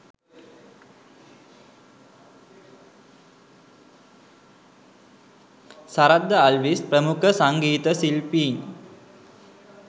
සරත් ද අල්විස් ප්‍රමුඛ සංගීත ශිල්පීන්